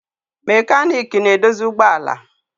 Mekaniiki na-edozi ụgbọ ala.